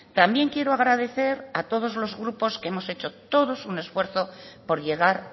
también quiero agradecer a todos los grupos que hemos hecho un esfuerzo por llegar